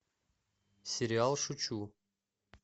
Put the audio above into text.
сериал шучу